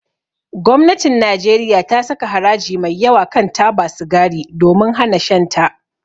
Gwamnatin Najeriya ta saka haraji mai yawa kan taba sigari domin hana shan ta.